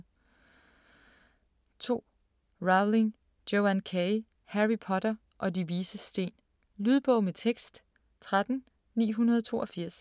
2. Rowling, Joanne K.: Harry Potter og De Vises Sten Lydbog med tekst 13982